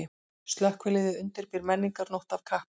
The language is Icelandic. Slökkviliðið undirbýr menningarnótt af kappi